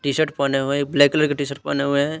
T-shirt पहने हुए हैं ब्लैक कलर की टी-शर्ट पहने हुए हैं।